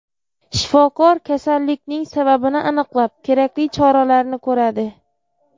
Shifokor kasallikning sababini aniqlab, kerakli choralarni ko‘radi.